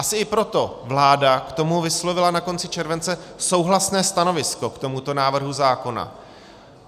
Asi i proto vláda k tomu vyslovila na konci července souhlasné stanovisko, k tomuto návrhu zákona.